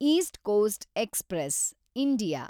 East Coast Express, India